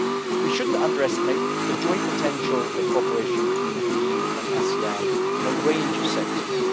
We should not underestimate the joint potential of cooperation between EU and ASEAN in a range of sectors.